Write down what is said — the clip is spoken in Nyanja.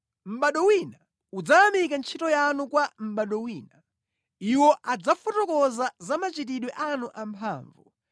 Mʼbado wina udzayamikira ntchito yanu kwa mʼbado wina; Iwo adzafotokoza za machitidwe anu amphamvu.